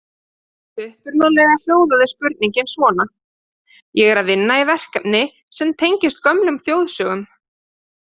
Upprunalega hljóðaði spurningin svona: Ég er að vinna í verkefni sem tengist gömlum þjóðsögum.